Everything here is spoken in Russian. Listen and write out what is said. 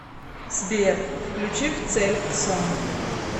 сбер включи в цель ксон